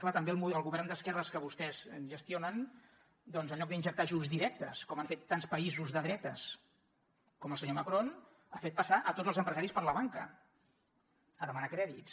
clar també el govern d’esquerres que vostès gestionen en lloc d’injectar ajuts directes com han fet tants països de dretes com el senyor macron ha fet passar tots els empresaris per la banca a demanar crèdits